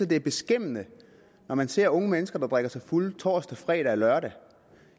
det er beskæmmende når man ser unge mennesker der drikker sig fulde torsdag fredag og lørdag